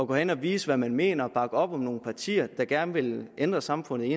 gå hen og vise hvad man mener og bakke op om nogle partier der gerne vil ændre samfundet i